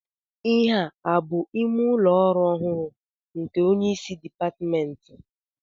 Ihea abụ ime ụlọ ọrụ ọhụrụ nke onyeisi dịpatmentị?